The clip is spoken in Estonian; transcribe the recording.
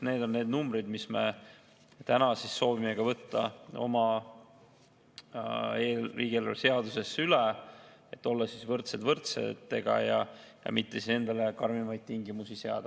Need on need numbrid, mis me täna soovime võtta ka oma riigieelarve seadusesse üle, et olla võrdsed võrdsetega ja mitte endale karmimaid tingimusi seada.